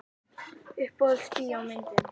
Uppáhalds bíómyndin?